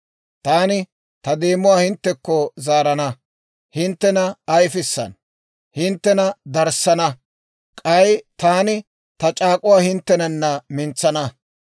«Taani ta deemuwaa hinttekko zaarana; hinttena ayfissana; hinttena darissana. K'ay taani ta c'aak'uwaa hinttenana minisana.